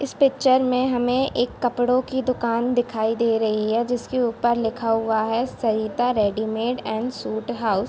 इस पिक्चर में हमें एक कपड़ों की दुकान दिखाई दे रही है जिसके ऊपर लिखा हुआ है Sarita readymade and suit house.